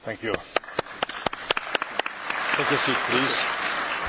Szanowny panie prezydencie, szanowna pani prezydentowo,